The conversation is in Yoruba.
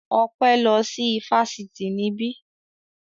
Ọpẹ́ lọ sí ifásitì níbí